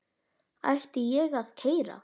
Ætti ég að kæra?